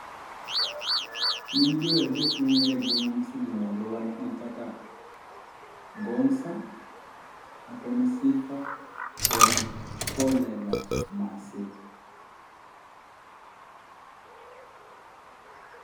Nying jower adek mongere mosedhi malo gin kaka Gonza, Atommy Sifa kod Collela masee